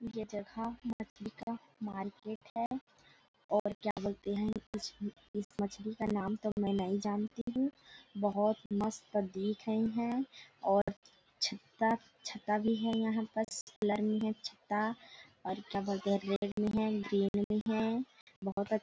ये जगह मछली का मार्केट है और क्या बोलते हैं इस मछली का नाम तक मैं नही जानती हूँ बहुत मस्त दिख रही हैं और छत्ता- छत्ता भी है यहाँ पास खुला नही है छत्ता और क्या बोलते है है ग्रीनरी है बहुत अ--